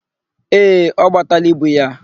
Ee, ọ gbataala ibu ya.